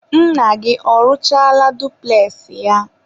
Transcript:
nna gị ọrụchaala dupules ya?